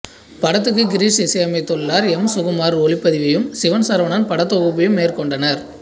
படத்துக்கு கிரிஷ் இசையமைத்துள்ளார் எம் சுகுமார் ஒளிப்பதிவையும் சிவன் சரவணன் படத் தொகுப்பையும் மேற்கொண்டனர்